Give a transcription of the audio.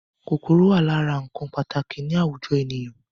Kòkòrò wà lára ǹkan pàtàkì ni àwùjọ ènìyàn